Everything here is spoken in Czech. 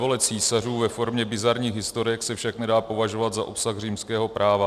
Svévole císařů ve formě bizarních historek se však nedá považovat za obsah římského práva.